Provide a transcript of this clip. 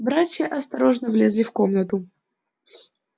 братья осторожно влезли в комнату